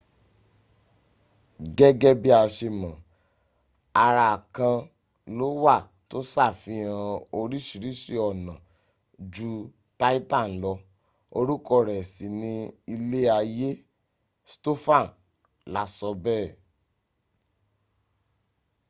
gẹ́gẹ́ bí a ṣe mọ̀, ara kan ló wà tó ṣàfihàn orísiríṣi ọ̀nà ju titan lọ orúkọ rẹ̀ sì ni ilé ayé stofan la sọ bẹ́ẹ̀